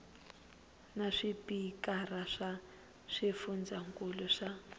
na swipikara swa swifundzankulu swa